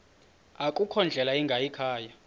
akukho ndlela ingayikhaya